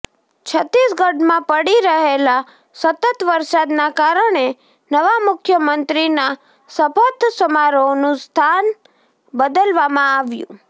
છત્તીસગઢમાં પડી રહેલા સતત વરસાદના કારણે નવા મુખ્યમંત્રીના શપથ સમારોહનું સ્થાન બદલવામાં આવ્યુ